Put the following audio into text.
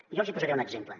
jo els n’hi posaré un exemple